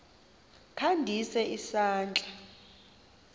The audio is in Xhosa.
kha ndise isandla